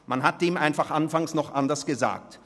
Am Anfang hat man dies einfach noch anders genannt.